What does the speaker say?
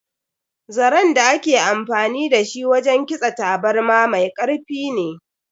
Zaren da ake amfani da shi wajen kitsa taburma mai karfi ne.